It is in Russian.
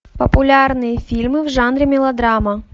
популярные фильмы в жанре мелодрама